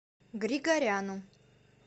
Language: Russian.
григоряну